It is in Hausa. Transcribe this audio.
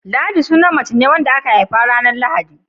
Ladi sunan mace ne wadda aka haifa ranar Lahadi.